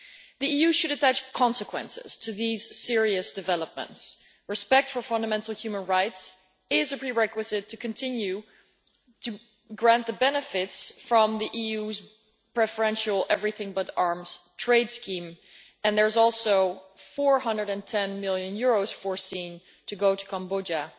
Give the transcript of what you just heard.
The EU should attach consequences to these serious developments. Respect for fundamental human rights is a prerequisite to continuing to grant the benefits from the EU's preferential Everything But Arms' trade scheme, and EUR 410 million is foreseen to go to Cambodia